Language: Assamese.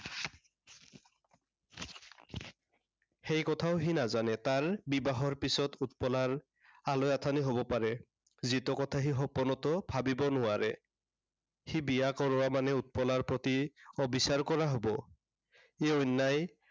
সেই কথাও সি নাজানে। তাৰ বিবাহৰ পিছত উৎপলাৰ আলৈ আথানি হব পাৰে। যিটো কথা সি সপোনতো ভাবি নোৱাৰে। সি বিয়া কৰোৱা মানে উৎপলাৰ প্ৰতি অবিচাৰ কৰা হব। সি অন্য়ায়